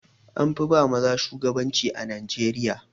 An fi ba maza shugabanci a Najeriya.